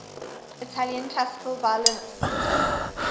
italian classical violinists